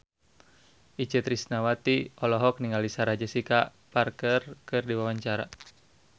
Itje Tresnawati olohok ningali Sarah Jessica Parker keur diwawancara